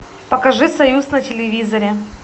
покажи союз на телевизоре